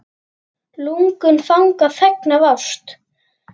Lungun fanga feng af ást.